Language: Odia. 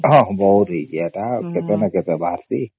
ହଁ ବହୁତ ହେଇଚି ହେଇଟ କେତେ ନ କେତେ ବାହାରିଚିବ